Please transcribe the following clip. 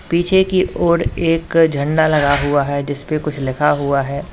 पीछे की ओर एक झंडा लगा हुआ है जी स पे कुछ लिखा हुआ है।